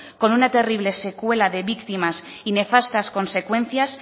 con una terrible secuela de víctimas y nefastas consecuencias